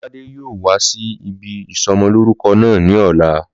Lọ́ládé yóò wá sí ibi ìsọmọlórúkọ náà ní ọ̀la